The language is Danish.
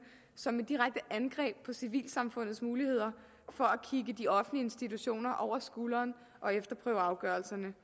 som et direkte angreb på civilsamfundets muligheder for at kigge de offentlige institutioner over skulderen og efterprøve afgørelserne